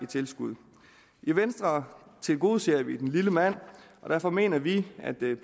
tilskud i venstre tilgodeser vi den lille mand og derfor mener vi at den